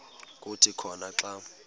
kuthi khona xa